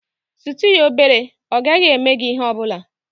Sutu ya obere, ọ gaghị eme gị ihe ọ bụla.